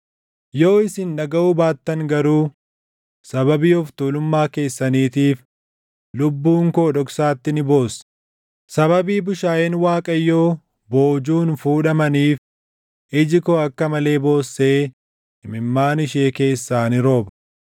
Yoo isin dhagaʼuu baattan garuu, sababii of tuulummaa keessaniitiif lubbuun koo dhoksaatti ni boossi; sababii bushaayeen Waaqayyoo boojuun fuudhamaniif iji koo akka malee boossee imimmaan ishee keessaa ni rooba.